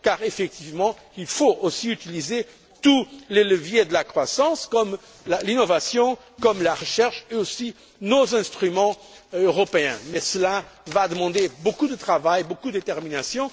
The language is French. Car, effectivement, il faut aussi utiliser tous les leviers de la croissance, comme l'innovation, la recherche et également nos instruments européens, mais cela va demander beaucoup de travail, beaucoup de détermination.